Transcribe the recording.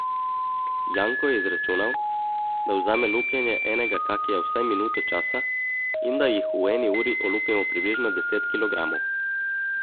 Janko je izračunal, da vzame lupljenje enega kakija vsaj minuto časa in da jih v eni uri olupimo približno deset kilogramov.